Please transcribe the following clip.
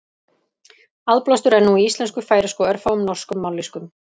Aðblástur er nú í íslensku, færeysku og örfáum norskum mállýskum.